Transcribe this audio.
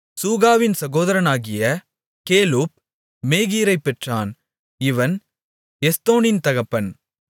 சூகாவின் சகோதரனாகிய கேலூப் மேகீரைப் பெற்றான் இவன் எஸ்தோனின் தகப்பன்